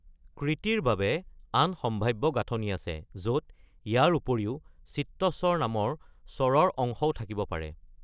কৃতিৰ বাবে আন সম্ভাৱ্য গাঁথনি আছে, য’ত ইয়াৰ উপৰিও চিত্তস্বৰ নামৰ স্বৰৰ অংশও থাকিব পাৰে।